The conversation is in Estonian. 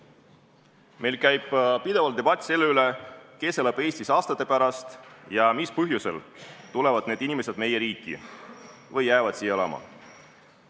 Meil käib pidevalt debatt selle üle, kes elab Eestis aastate pärast ja mis põhjusel tulevad need inimesed meie riiki või jäävad siia elama.